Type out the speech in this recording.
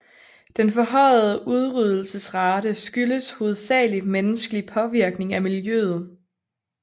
Den forhøjede udryddelsesrate skyldes hovedsalig menneskelig påvirkning af miljøet